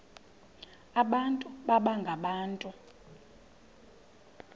abantu baba ngabantu